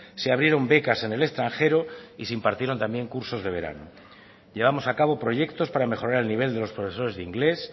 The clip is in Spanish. se abrieron becas en el extranjero y se impartieron también cursos de verano llevamos a cabo proyectos para mejorar el nivel de los profesores de inglés